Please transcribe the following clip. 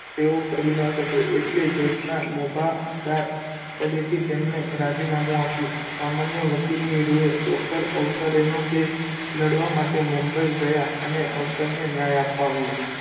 તેઓ કરી ન શકે એટલે judge મોભાદાર પદેથી તેમણે રાજીનામું આપ્યું સમાન્ય વકીલની રૂએ doctor અવસરેનો કેસ લડવા માટે મુંબઈ ગયાં અને અવસરને ન્યાય અપાવ્યો.